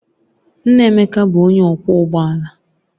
Nna Emeka bụ onye ọkwọ ụgbọ ala